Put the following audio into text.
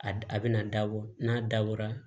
A d a bɛna dabɔ n'a dabɔra